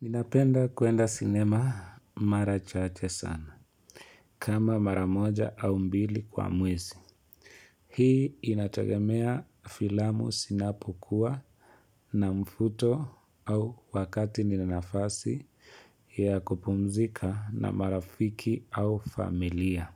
Ninapenda kwenda sinema mara chache sana, kama mara moja au mbili kwa mwezi. Hii inatagemea filamu zinapokuwa na mvuto au wakati nina nafasi ya kupumzika na marafiki au familia.